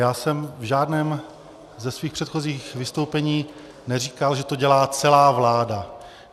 Já jsem v žádném ze svých předchozích vystoupeních neříkal, že to dělá celá vláda.